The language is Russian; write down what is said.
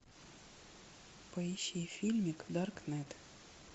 поищи фильмик даркнет